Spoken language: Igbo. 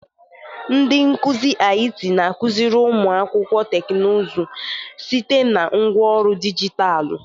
Ndị nkuzi IT na-akụziri ụmụ akwụkwọ teknụzụ site na ngwaọrụ dijitalụ.